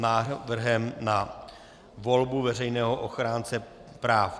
Návrh na volbu Veřejného ochránce práv